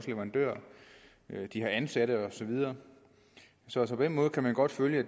leverandører ansatte og så videre så på den måde kan vi godt følge at